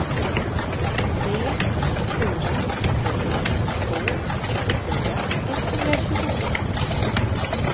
tre fyra tre två tjugofyra etthundratjugosju